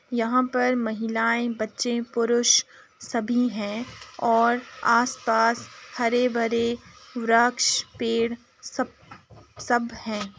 यहाँ पर महिलाये बच्चे पुरुष सभी हैं और आस-पास हरे भरे वरक्ष पेड़ सब सब हैं।